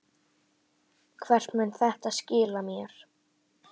Hvert mun þetta skila mér?